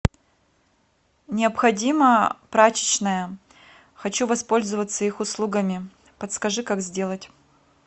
необходима прачечная хочу воспользоваться их услугами подскажи как сделать